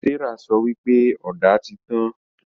Serah sọ wípé Ọ̀dà tí tàn